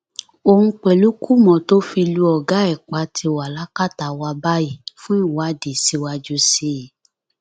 òun pẹlú kùmọ tó fi lu ọgá ẹ pa ti wà lákàtà wa báyìí fún ìwádìí síwájú sí i